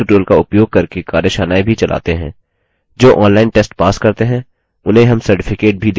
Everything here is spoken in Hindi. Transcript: spoken tutorial team spoken tutorial का उपयोग करके कार्यशालाएँ भी चलाते हैं